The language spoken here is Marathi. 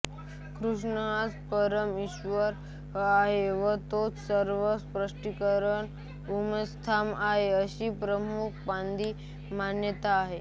कृष्ण हाच परम ईश्वर आहे व तोच सर्व सृष्टीचे उगमस्थान आहे अशी प्रभुपादांची मान्यता आहे